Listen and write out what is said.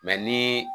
ni